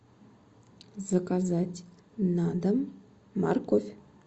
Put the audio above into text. заказать на дом морковь